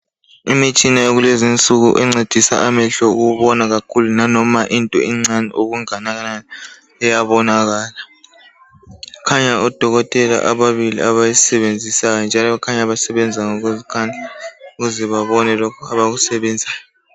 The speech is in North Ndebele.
Imitshina yakulezinsuku encedisa amehlo ukubona kakhulu nanoma into encani okungakanani iyabona kahle, kukhanya odokotela ababili abayisebenzisayo njalo basebenza ngokuzikhandla ukuze babone lokhu abakusebenzayo.